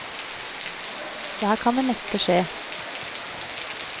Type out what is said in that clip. Så her kan det meste skje.